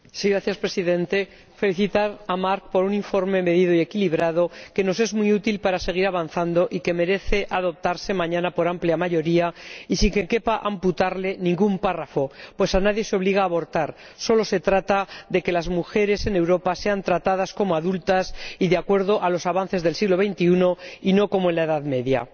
Señor Presidente, quiero felicitar a Marc Tarabella por un informe medido y equilibrado que nos es muy útil para seguir avanzando y que merece ser aprobado mañana por amplia mayoría y sin que quepa amputarle ningún apartado —pues a nadie se obliga a abortar, solo se trata de que las mujeres en Europa sean tratadas como adultas y de acuerdo con los avances del siglo XXI y no como en la Edad Media—.